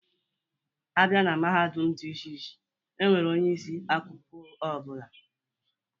A bịa na Mahadum dị iche iche, E nwere onye isi akụkụ ọ bụla.